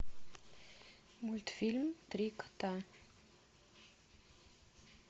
мультфильм три кота